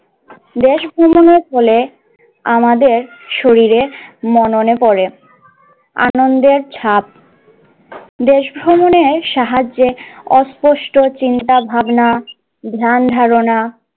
দেশ ভ্রমণের ফলে আমাদের শরীরে মননে পরে আনন্দের ছাপ, দেশ ভ্রমণের সাহায্যে অস্পষ্ট চিন্তাভাবনা, ধ্যান ধারণা